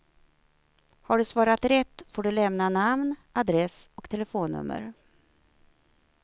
Har du svarat rätt får du lämna namn, adress och telefonnummer.